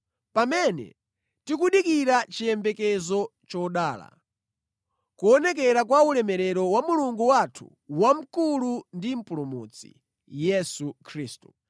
pamene tikudikira chiyembekezo chodala; kuonekera kwa ulemerero wa Mulungu wathu wamkulu ndi Mpulumutsi, Yesu Khristu,